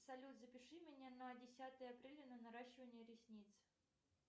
салют запиши меня на десятое апреля на наращивание ресниц